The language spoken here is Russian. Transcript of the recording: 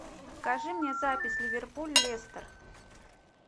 покажи мне запись ливерпуль лестер